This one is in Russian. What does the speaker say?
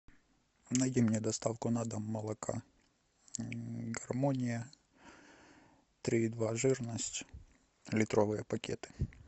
найди мне доставку на дом молока гармония три и два жирность литровые пакеты